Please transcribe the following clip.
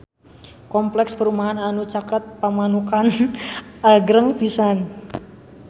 Kompleks perumahan anu caket Pamanukan agreng pisan